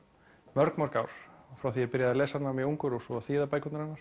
mörg mörg ár frá því ég byrjaði að lesa hana mjög ungur og svo að þýða bækurnar hennar